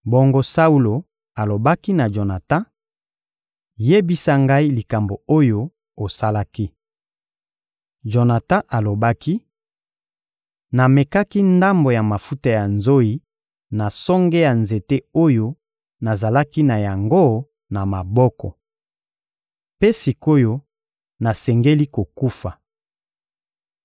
Bongo Saulo alobaki na Jonatan: — Yebisa ngai likambo oyo osalaki. Jonatan alobaki: — Namekaki ndambo ya mafuta ya nzoyi na songe ya nzete oyo nazalaki na yango na maboko. Mpe sik’oyo nasengeli kokufa!